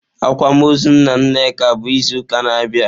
Akwamaọzụ nna Nneka bụ izu ụka na-abịa.